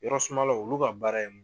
Yɔrɔ sumalaw olu ka baara ye